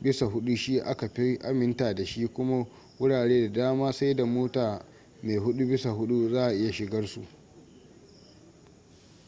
4/4 shi aka fi aminta da shi kuma wurare da dama sai da mota mai 4/4 za a iya shigarsu